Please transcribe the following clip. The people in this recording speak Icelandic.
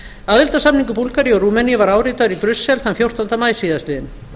aðildarsamningur búlgaríu og rúmeníu var áritaður í brussel þann fjórtánda maí síðastliðinn